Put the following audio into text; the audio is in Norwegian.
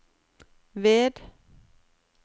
ved